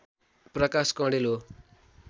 प्रकाश कँडेल हो